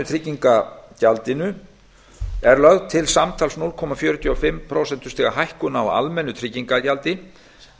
atvinnutryggingagjaldinu er lögð til samtals núll komma fjörutíu og fimm prósentustiga hækkun á almennu tryggingagjaldi en